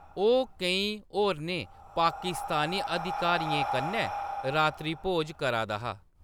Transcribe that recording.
ओह्‌‌ केईं होरनें पाकिस्तानी अधिकारियें कन्नै रात्रिभोज करा दा हा।